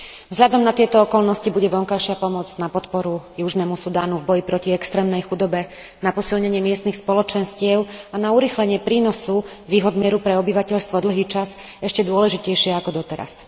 Vzhľadom na tieto okolnosti bude vonkajšia pomoc na podporu južnému Sudánu v boji proti extrémnej chudobe, na posilnenie miestnych spoločenstiev a na urýchlenie prínosu výhod mieru pre obyvateľstvo dlhý čas ešte dôležitejšia ako doteraz.